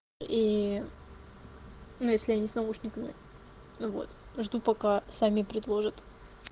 и ну если я не с наушниками ну вот жду пока сами предложат